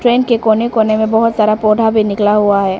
इनके कोने कोने में बहोत सारा पौधा भी निकला हुआ है।